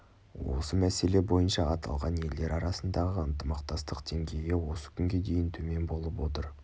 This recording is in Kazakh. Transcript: осы мәселе бойынша аталған елдер арасындағы ынтымақтастық деңгейі осы күнге дейін төмен болып отыр